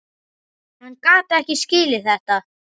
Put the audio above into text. Hvað þá Mars!